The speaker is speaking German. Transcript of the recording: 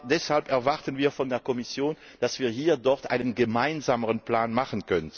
Deshalb erwarten wir von der Kommission, dass wir hier einen gemeinsamen Plan machen.